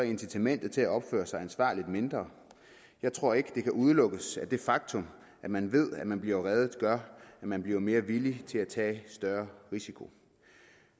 incitamentet til at opføre sig ansvarligt mindre jeg tror ikke at det kan udelukkes at det faktum at man ved at man bliver reddet gør at man bliver mere villig til at tage større risiko